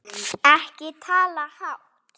Ekki tala hátt!